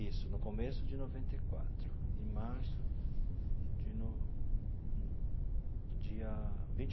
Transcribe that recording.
Isso, no começo de noventa e quatro, em março de no dia vinte.